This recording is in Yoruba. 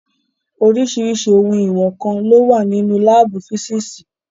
Oríṣirísi ohun ìwọ̀n nǹkan lo wà nínú láàbù físìsì.